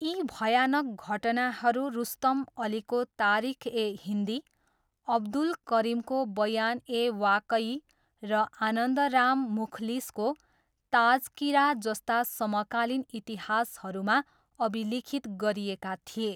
यी भयानक घटनाहरू रुस्तम अलीको तारिख ए हिन्दी, अब्दुल करिमको बयान ए वाकई र आनन्द राम मुखलिसको ताजकिरा जस्ता समकालीन इतिहासहरूमा अभिलिखित गरिएका थिए।